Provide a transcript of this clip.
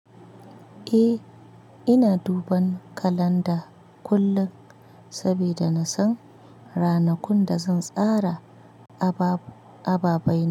Eh, ina duban kalanda kullum saboda na san ranakun da zan tsara abab- ababai.